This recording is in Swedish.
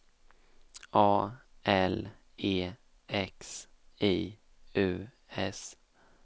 A L E X I U S